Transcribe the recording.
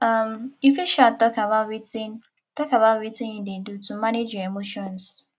um you fit um talk about wetin talk about wetin you dey do to manage your emotions